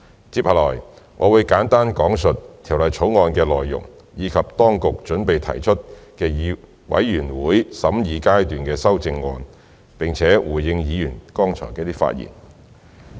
接下來，我會簡單講述《條例草案》的內容，以及本局準備提出的全體委員會審議階段修正案，並且回應議員剛才的發言。